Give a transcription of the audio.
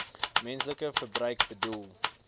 menslike verbruik bedoel